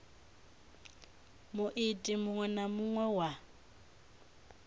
muiti muṅwe na muṅwe wa